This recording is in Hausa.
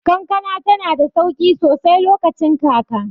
Kankana tanada sauƙi sosai lokacin kaka.